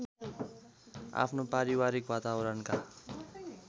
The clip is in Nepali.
आफ्नो पारिवारिक वातावरणका